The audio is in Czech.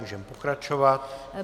Můžeme pokračovat.